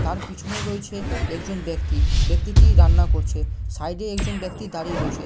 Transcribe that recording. তার পিছনে রয়েছে একজন ব্যাক্তি। ব্যাক্তিটি রান্না করছে। সাইডে একজন ব্যাক্তি দাঁড়িয়ে রয়েছে--